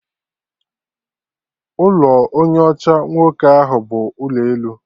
Ụlọ onye ọcha nwoke ahụ bụ ụlọ elu